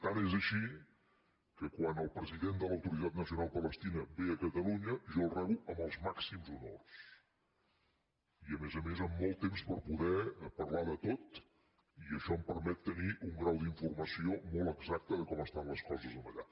tant és així que quan el president de l’autoritat nacional palestina ve a catalunya jo el rebo amb els màxims honors i a més a més amb molt temps per poder parlar de tot i això em permet tenir un grau d’informació molt exacte de com estan les coses allà